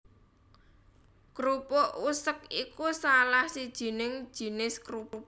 Krupuk usek iku salah sijining jinis krupuk